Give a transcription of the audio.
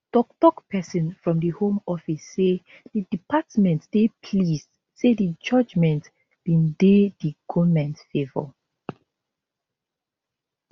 toktok pesin from di home office say di department dey pleased say di judgement bin dey di goment favour